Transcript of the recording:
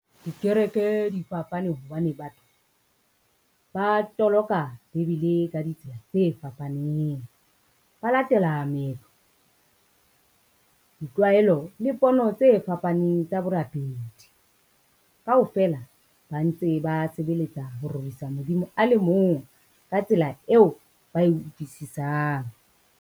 Dikereke di fapane hobane batho, ba toloka bebele ka ditsela tse fapaneng. Ba latela meetlo, ditlwaelo le pono tse fapaneng tsa borapedi. Kaofela ba ntse ba sebeletsa ho rorisa Modimo a le mong ka tsela eo ba e utlwisisang.